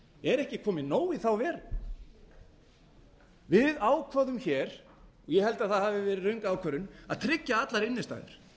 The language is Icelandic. er ekki komið nóg í þá veru við ákváðum hér ég held að það hafi verið röng ákvörðun að tryggja allar innstæður